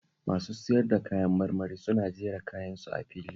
Masu sayar da kayan marmari suna jera kayansu a fili